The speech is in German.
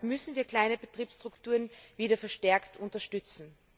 Deshalb müssen wir kleine Betriebsstrukturen wieder verstärkt unterstützen.